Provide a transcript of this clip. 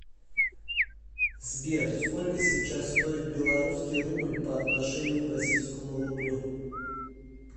сбер сколько сейчас стоит белорусский рубль по отношению к российскому рублю